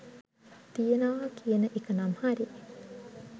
තියෙනවා කියන එක නම් හරි